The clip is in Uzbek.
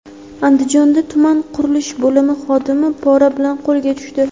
Andijonda tuman qurilish bo‘limi xodimi pora bilan qo‘lga tushdi.